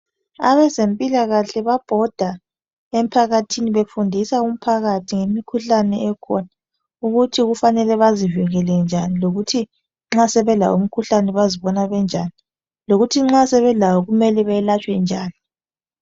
Abezempikahle babhoda emphakathini befundisa umphakathi ngemikhuhlane Ekhona ukuthi kufanele bezivikele njani lokuthi nxa sebelawo umkhuhlane bazibona benjani lokuthi nxa sebelawo kufanele belatshwe njani